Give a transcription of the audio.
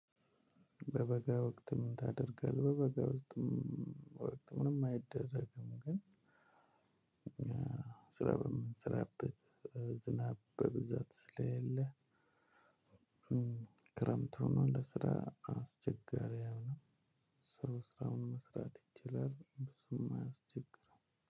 በበጋ ወቅት ምን ታደርጋለህ? በበጋ ወቅት ምንም አይደረግም። ግን ስራ በምስራበት ዝናብ በብዛት ስለሌለ። ክረምቱ ሆኖ ለስራ አስቸጋሪ አይሆንም። ሰው ስራውን መስራት ይችላል ብዙም አያስቸግርም።